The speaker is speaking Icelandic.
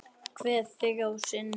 Kveð þig að sinni.